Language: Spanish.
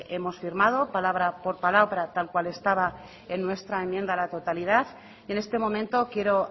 hemos firmado palabra por palabra tal cual estaba en nuestra enmienda a la totalidad y en este momento quiero